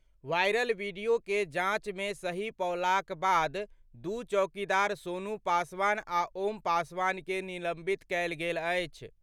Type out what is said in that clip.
Viral video के जांच मे सही पौलाक बाद दू चौकीदार सोनू पासवान आ ओम पासवान के निलंबित कयल गेल अछि।